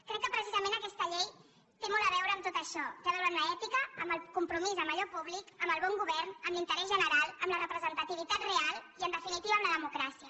crec que precisament aquesta llei té molt a veure amb tot això té a veure amb l’èti ca amb el compromís amb allò públic amb el bon govern amb l’interès general amb la representativitat real i en definitiva amb la democràcia